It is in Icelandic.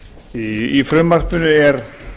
í frumvarpinu er